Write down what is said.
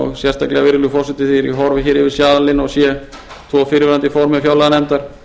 og sérstaklega virðulegur forseti þegar ég horfi yfir salinn og sé tvo fyrrverandi formenn fjárlaganefndar